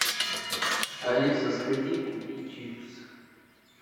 алиса сходи купи чипсы